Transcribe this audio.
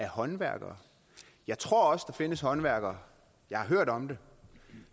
håndværkere jeg tror også der findes håndværkere jeg har hørt om det